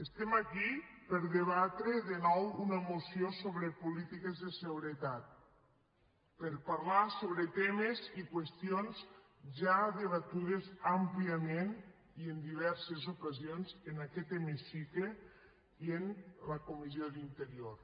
estem aquí per a debatre de nou una moció sobre polítiques de seguretat per a parlar sobre temes i qüestions ja debatudes àmpliament i en diverses ocasions en aquest hemicicle i en la comissió d’interior